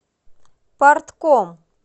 партком